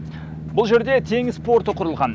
бұл жерде теңіз порты құрылған